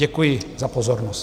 Děkuji za pozornost.